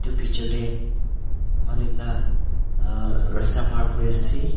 edu picture tae manu ekta rasta par kuriase.